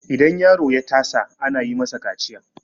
idan yaro ya tasa ana yi masa kaciya